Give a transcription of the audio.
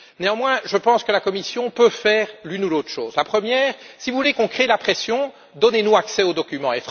Néanmoins, je pense que la Commission peut faire l'une ou l'autre chose la première, si vous voulez qu'on fasse pression, donnez nous accès aux documents.